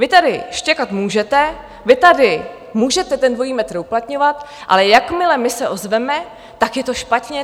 Vy tady štěkat můžete, vy tady můžete ten dvojí metr uplatňovat, ale jakmile my se ozveme, tak je to špatně?